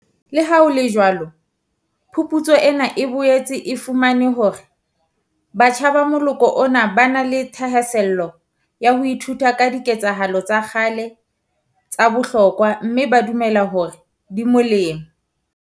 Leha ho le jwalo phuputso ena e boetse e fumane hore batjha ba moloko ona ba na le thahasello ya ho ithuta ka diketsahalo tsa kgale tsa bohlokwa mme ba dumela hore di molemo.